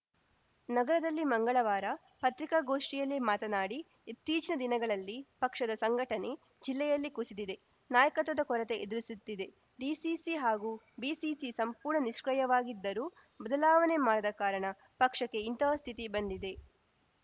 ನಗರದಲ್ಲಿ ಮಂಗಳವಾರ ಪತ್ರಿಕಾಗೋಷ್ಠಿಯಲ್ಲಿ ಮಾತನಾಡಿ ಇತ್ತೀಚಿನ ದಿನಗಳಲ್ಲಿ ಪಕ್ಷದ ಸಂಘಟನೆ ಜಿಲ್ಲೆಯಲ್ಲಿ ಕುಸಿದಿದೆ ನಾಯಕತ್ವದ ಕೊರತೆ ಎದುರಿಸುತ್ತಿದೆ ಡಿಸಿಸಿ ಹಾಗೂ ಬಿಸಿಸಿ ಸಂಪೂರ್ಣ ನಿಷ್ಕ್ರಿಯವಾಗಿದ್ದರೂ ಬದಲಾವಣೆ ಮಾಡದ ಕಾರಣ ಪಕ್ಷಕ್ಕೆ ಇಂತಹ ಸ್ಥಿತಿ ಬಂದಿದೆ